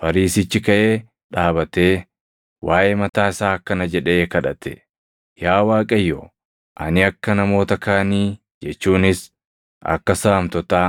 Fariisichi kaʼee dhaabatee, waaʼee mataa isaa akkana jedhee kadhate; ‘Yaa Waaqayyo, ani akka namoota kaanii jechuunis akka saamtotaa,